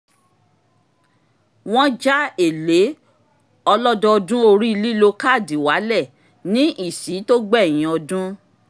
wọ́n já èlé owó ọlọ́dọọdún orí lílo káàdì wálẹ̀ ní ìsí tó gbẹ̀yìn ọdún